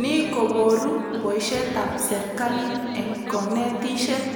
Ni koboru boishetab serkalit eng konetishet